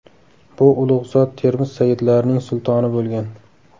Bu ulug‘ zot Termiz sayyidlarining sultoni bo‘lgan.